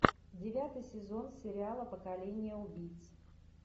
девятый сезон сериала поколение убийц